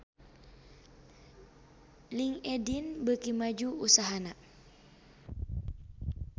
Linkedin beuki maju usahana